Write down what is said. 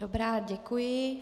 Dobrá, děkuji.